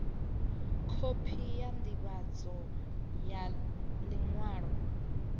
khophi ya ndivhadzo ya liṅwalo